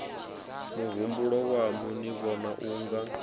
muhumbulo waṋu ni vhona unga